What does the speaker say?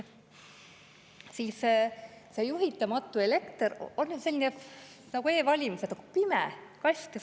See juhitamatu elekter on nüüd nagu e-valimised: see on pime kast.